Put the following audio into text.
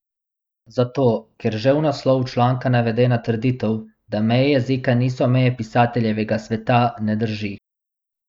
Zato, ker že v naslovu članka navedena trditev, da meje jezika niso meje pisateljevega sveta, ne drži!